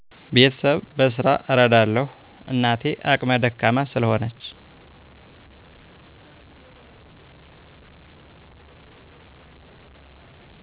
ቤተሰብ በስራ እረዳለው እናቴ አክም ደካማ ስለሆነች